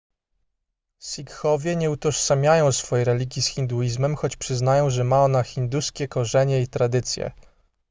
sikhowie nie utożsamiają swojej religii z hinduizmem choć przyznają że ma ona hinduskie korzenie i tradycje